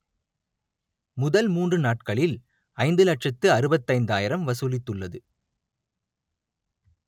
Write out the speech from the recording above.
முதல் மூன்று நாட்களில் ஐந்து லட்சத்து அறுபத்தைந்தாயிரம் வசூலித்துள்ளது